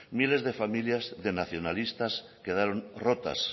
miles de familias de nacionalistas quedaron rotas